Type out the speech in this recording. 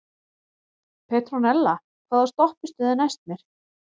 Petrónella, hvaða stoppistöð er næst mér?